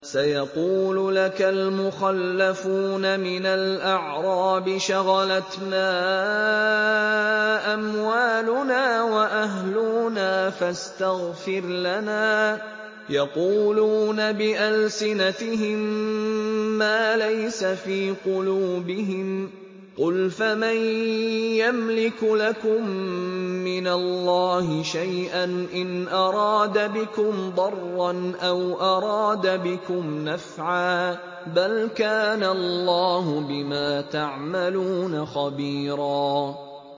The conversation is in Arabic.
سَيَقُولُ لَكَ الْمُخَلَّفُونَ مِنَ الْأَعْرَابِ شَغَلَتْنَا أَمْوَالُنَا وَأَهْلُونَا فَاسْتَغْفِرْ لَنَا ۚ يَقُولُونَ بِأَلْسِنَتِهِم مَّا لَيْسَ فِي قُلُوبِهِمْ ۚ قُلْ فَمَن يَمْلِكُ لَكُم مِّنَ اللَّهِ شَيْئًا إِنْ أَرَادَ بِكُمْ ضَرًّا أَوْ أَرَادَ بِكُمْ نَفْعًا ۚ بَلْ كَانَ اللَّهُ بِمَا تَعْمَلُونَ خَبِيرًا